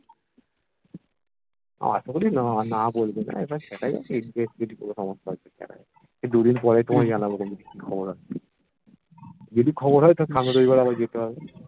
আশাকরি না না বলবেনা এবার দেখা যাক ইট দিয়ে ইট সমাপ্ত আছে দেখা যাক এই দুদিন পরেই তোমায় জানাবো খবরটা যদি খবর হয় হলে তাহলে সামনের রবিবার আবার দেখতে হবে